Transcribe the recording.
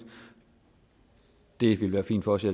det ville være fint for os i